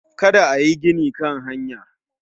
Kada ayi gini Kan hanya